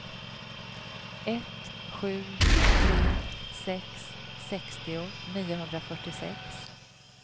ett sju tre sex sextio niohundrafyrtiosex